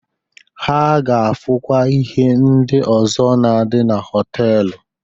Ha ga-afụkwa ihe ndi ọzọ na-adị na họtelu